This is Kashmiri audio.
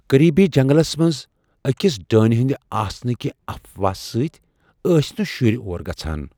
قریبی جنگلس منز أكِس ڈٲنہِ ہندِ آسنچہِ افواہِ كِنۍ ٲسۍ نہٕ شُرۍ اور گژھان۔